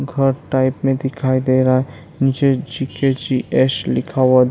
घर टाइप में दिखाई दे रहा है मुझे जी.के.जी.एस. लिखा हुआ --